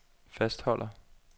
fastholder